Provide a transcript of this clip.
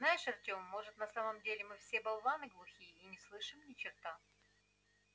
знаешь артем может на самом деле мы все болваны глухие и не слышим ни черта